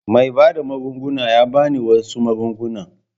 Mai bada magunguna ya ba ni wasu magunguna.